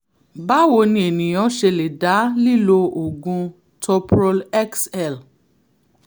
báwo ni ènìyàn ṣe lè dá lílo oògùn toprol xl?